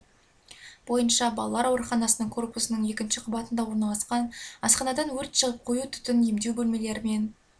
бойынша балалар ауруханасының корпусының екінші қабатында орналасқан асханадан өрт шығып қою түтін емдеу бөлмелері мен